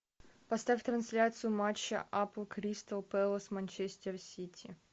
поставь трансляцию матча апл кристал пэлас манчестер сити